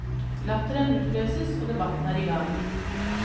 Latteren utløses og debatten er i gang.